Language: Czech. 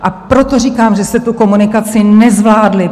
A proto říkám, že jste tu komunikaci nezvládli.